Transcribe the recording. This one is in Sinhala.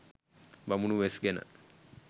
බමුණු වෙස් ගෙන